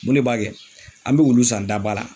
Mun de b'a kɛ, an be wulu san da ba la.